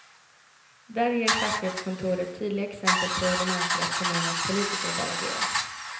Där ger fastighetskontoret tydliga exempel på hur de anser att kommunens politiker bör agera.